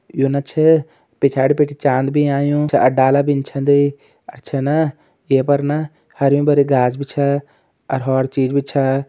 योना छै पिछाड़ी भीटी चाँद भी आयूँ छा और डाला भीं छंद और छना ये पर ना हर्युं-भर्युं घास भी छा और हौर चीज भी छा।